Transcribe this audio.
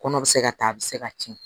Kɔnɔ bɛ se ka ta a bɛ se ka tiɲɛ